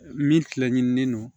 Min tilaɲinini don